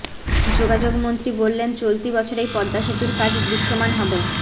যোগাযোগমন্ত্রী বললেন চলতি বছরেই পদ্মা সেতুর কাজ দৃশ্যমান হবে